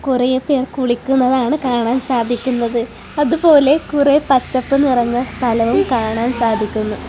കുറെ പേർ കുളിക്കുന്നത് ആണ് കാണാൻ സാധിക്കുന്നത് അതുപോലെ കുറെ പച്ചപ്പ് നിറഞ്ഞ സ്ഥലവും കാണാൻ സാധിക്കുന്നു.